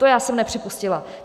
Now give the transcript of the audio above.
To já jsem nepřipustila.